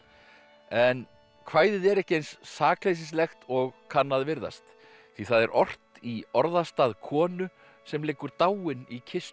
en kvæðið er ekki eins sakleysislegt og kann að virðast því það er ort í orðastað konu sem liggur dáin í kistu